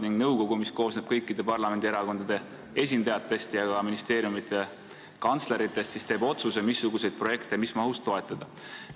Ning nõukogu, mis koosneb kõikide parlamendierakondade esindajatest ja ka ministeeriumide kantsleritest, teeb otsuse, mis projekte mis mahus toetada.